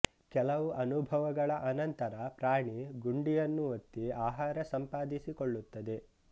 ಕೆಲವು ಅನುಭವಗಳ ಅನಂತರ ಪ್ರಾಣಿ ಗುಂಡಿಯನ್ನು ಒತ್ತಿ ಆಹಾರ ಸಂಪಾದಿಸಿಕೊಳ್ಳುತ್ತದೆ